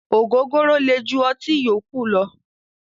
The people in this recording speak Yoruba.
Ògógóró le ju ọtí yókù lọ.